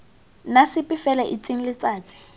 na sepe fela itseng letsatsi